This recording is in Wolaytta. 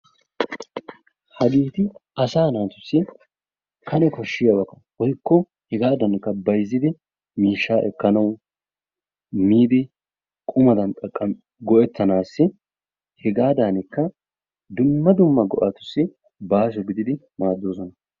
Hageeti asaa naatussi Kane koshshiyaba woykko hegaadankka bayzzidi miishshaa ekkanawu, miidi qummadan go"ettanaassi, hegaadankka dumma dumma go'atussi baaso gididi maaddoosona